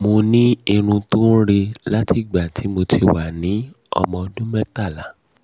mo ní irun tó ń re láti ìgbà tí mo ti wà ní ọmọ ọdún mẹ́tàlá